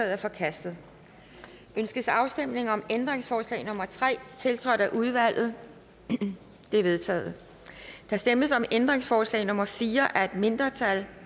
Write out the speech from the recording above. er forkastet ønskes afstemning om ændringsforslag nummer tre tiltrådt af udvalget det er vedtaget der stemmes om ændringsforslag nummer fire af et mindretal